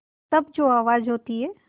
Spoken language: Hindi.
तब जो आवाज़ होती है